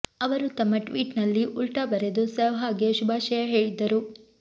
ಅವರು ತಮ್ಮ ಟ್ವೀಟ್ ನಲ್ಲಿ ಉಲ್ಟಾ ಬರೆದು ಸೆಹ್ವಾಗ್ ಗೆ ಶುಭಾಶಯ ಹೇಳಿದ್ದರು